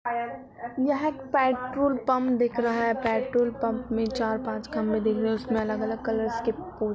यह petrol pump दिख रहा है। पेट्रोल पम्प में चार-पाच खम्भे दिख रहे हैं उसमे अलग अलग कलर्स के फूल--